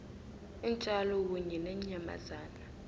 iintjalo kunye neenyamazana